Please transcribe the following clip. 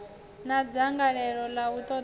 na dzangalelo ḽa u ṱoḓa